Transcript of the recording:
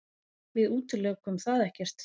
Við útilokum það ekkert.